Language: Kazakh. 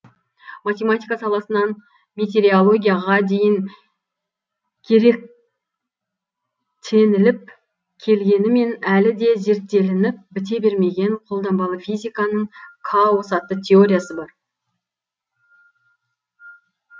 математика саласынан метереологияға дейін керек теніліп келгенімен әлі де зерттеніліп біте бермеген қолданбалы физиканың каос атты теориясы бар